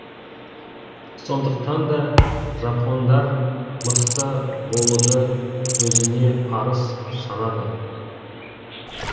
сондықтан да жапондар мықты болуды өзіне парыз санады